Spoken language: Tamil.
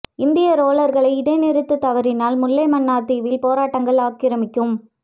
இந்திய றோலர்களை இடை நிறுத்து தவறினால் முல்லை மன்னார் தீவில் போராட்டங்கள் ஆக்கிரமிக்கும்